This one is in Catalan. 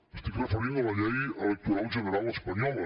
m’estic referint a la llei electoral general espanyola